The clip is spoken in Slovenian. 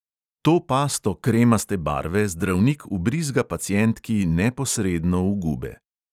To pasto kremaste barve zdravnik vbrizga pacientki neposredno v gube.